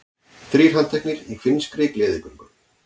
Þrír handteknir í finnskri gleðigöngu